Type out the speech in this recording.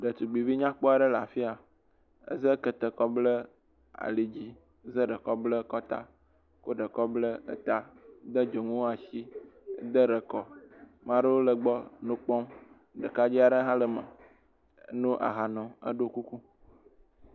Ɖetugbevi nyakpɔ aɖe le afi ya, eza kete kɔ bla ali dzi, za ɖe kɔ bla akɔta, kɔ ɖe kɔ bla eta, de dzonuwo asi, de ɖe kɔ, ɖekadze aɖe hã le me, no aha num, eɖo kuku.